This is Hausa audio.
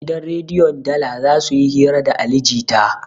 Gidan rediyon dala zasuyi hira da ali jita